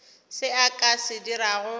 se a ka se dirago